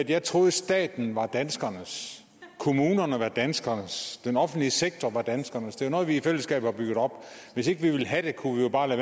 jeg troede at staten var danskernes at kommunerne var danskernes at den offentlige sektor var danskernes det er jo noget vi i fællesskab har bygget op hvis ikke vi ville have det kunne vi jo bare